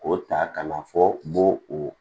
K'o ta ka na fɔ kun bo o